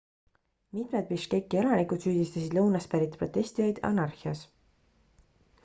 mitmed biškeki elanikud süüdistasid lõunast pärit protestijaid anarhias